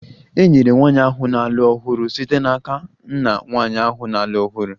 E nyere nwanyị ahụ na-alụ ọhụrụ site n'aka nna nwanyị ahụ na-alụ ọhụrụ